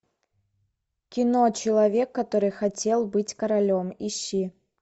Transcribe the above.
кино человек который хотел быть королем ищи